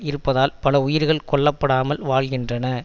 இருப்பதால் பல உயிர்கள் கொல்லப்படாமல் வாழ்கின்றன